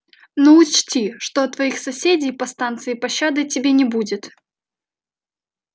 но учти что от твоих соседей по станции пощады тебе не будет